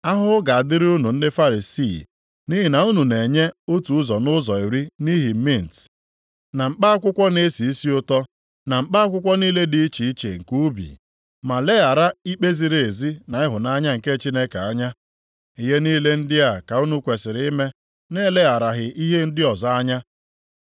“Ahụhụ ga-adịrị unu ndị Farisii, nʼihi na unu na-enye otu ụzọ nʼụzọ iri nʼihi mint, na mkpa akwụkwọ na-esi isi ụtọ + 11:42 Nke a na-akpọ roo na mkpa akwụkwọ niile dị iche iche nke ubi, ma leghara ikpe ziri ezi na ịhụnanya nke Chineke anya. Ihe niile ndị a ka unu kwesiri ime nʼelegharaghị ihe ndị ọzọ anya.